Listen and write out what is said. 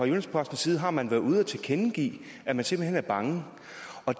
jyllands posten side har man været ude at tilkendegive at man simpelt hen er bange